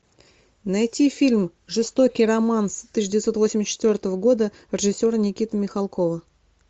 найти фильм жестокий романс тысяча девятьсот восемьдесят четвертого года режиссера никиты михалкова